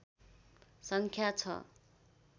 सङ्ख्या छ